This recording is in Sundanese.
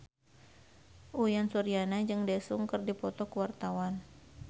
Uyan Suryana jeung Daesung keur dipoto ku wartawan